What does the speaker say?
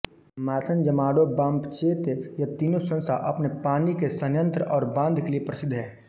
मैथनजमाडोबापंचेत यह तीनों स्थान अपने पानी के संयंत्र और बांध के लिए प्रसिद्ध है